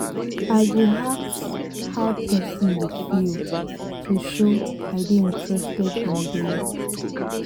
i go ask how pesin dey feel to show i dey interested in dem.